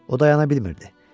O dayana bilmirdi.